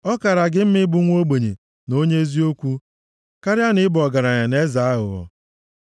Ọ kaara gị mma ịbụ nwa ogbenye na onye eziokwu karịa na ị bụ ọgaranya na eze aghụghọ.